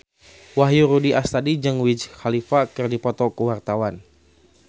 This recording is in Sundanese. Wahyu Rudi Astadi jeung Wiz Khalifa keur dipoto ku wartawan